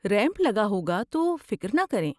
Ramp لگا ہوگا، تو فکر نہ کریں۔